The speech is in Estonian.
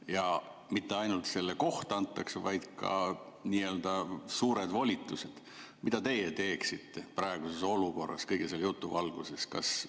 –, ja mitte ainult et see koht antakse, vaid ka nii-öelda suured volitused, siis mida teie teeksite praeguses olukorras kõige selle jutu valguses?